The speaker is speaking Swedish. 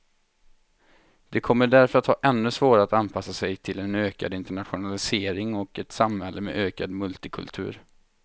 De kommer därför att ha ännu svårare att anpassa sig till en ökad internationalisering och ett samhälle med ökad multikultur.